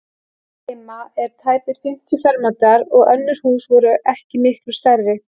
Húsið heima er tæpir fimmtíu fermetrar og önnur hús voru ekki miklu stærri.